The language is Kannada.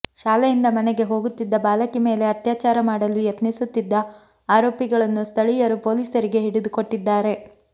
ಶಾಲೆಯಿಂದ ಮನೆಗೆ ಹೋಗುತ್ತಿದ್ದ ಬಾಲಕಿ ಮೇಲೆ ಅತ್ಯಾಚಾರ ಮಾಡಲು ಯತ್ನಿಸುತ್ತಿದ್ದ ಆರೋಪಿಗಳನ್ನು ಸ್ಥಳೀಯರು ಪೊಲೀಸರಿಗೆ ಹಿಡಿದುಕೊಟ್ಟಿದ್ದಾರೆ